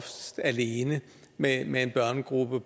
alene med med en børnegruppe